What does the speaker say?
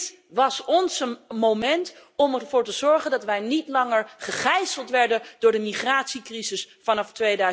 Dit was ons moment om ervoor te zorgen dat wij niet langer gegijzeld werden door de migratiecrisis vanaf